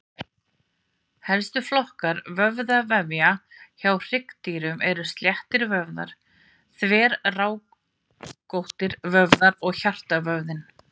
Helstu flokkar vöðvavefja hjá hryggdýrum eru sléttir vöðvar, þverrákóttir vöðvar og hjartavöðvinn.